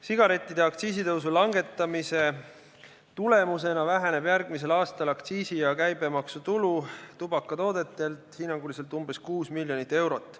Sigarettide aktsiisitõusu langetamise tulemusena väheneb järgmisel aastal aktsiisi- ja käibemaksutulu tubakatoodetelt hinnanguliselt umbes 6 miljonit eurot.